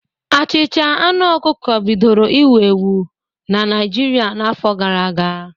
Achịcha aṅụ ọkụkọ bidoro iwu ewu na Naịjirịa n'afọ gara aga.